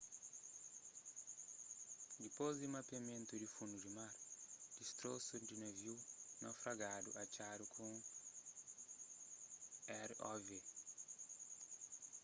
dipôs di mapeamentu di fundu di mar distrosu di naviu naufragadu atxadu ku un rov